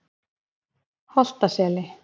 Holtaseli